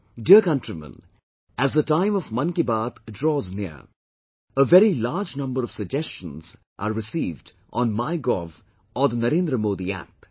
Dear countrymen, as the time of Mann Ki Baat draws near, a very large number of suggestions are received on MyGov or NarendraModiApp